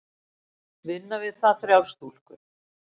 Vinna við það þrjár stúlkur.